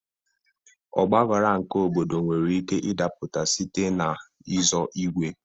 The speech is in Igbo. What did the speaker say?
Ọgbaghara nke obodo nwere ike idapụta site n'i zọ igwe.